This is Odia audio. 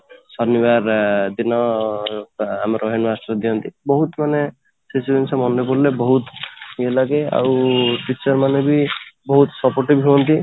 ଶନିବାର ଦିନ ଆମର ଖାଲି ବହୁତ ମାନେ କିଛି ଜିନିଷ ମନେ ପଡିଲେ ମାନେ ବହୁତ ଇୟେ ଲାଗେ ଆଉ teacher ମାନେ ବି ବହୁତ supportive ହୁଅନ୍ତି